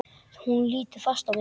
Hún lítur fast á mig.